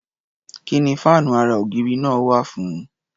Kí ni fáànú ara-ògiri náà wà fún?